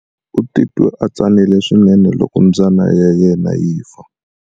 U titwe a tsanile swinene loko mbyana ya yena yi fa.